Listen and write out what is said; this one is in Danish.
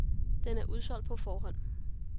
Den er udsolgt på forhånd.